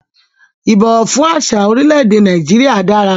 Ìbọ̀wọ̀ fún àsìá orílẹ̀ èdè Nàìjíríà dára